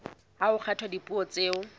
ha ho kgethwa dipuo tseo